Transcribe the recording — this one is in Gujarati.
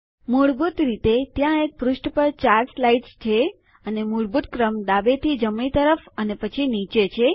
મૂળભૂત રીતે ત્યાં એક પૃષ્ઠ પર 4 સ્લાઇડ્સ છે અને મૂળભૂત ક્રમ ડાબે થી જમણી તરફ અને પછી નીચે છે